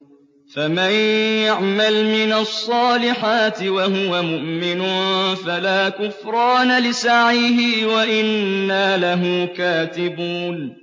فَمَن يَعْمَلْ مِنَ الصَّالِحَاتِ وَهُوَ مُؤْمِنٌ فَلَا كُفْرَانَ لِسَعْيِهِ وَإِنَّا لَهُ كَاتِبُونَ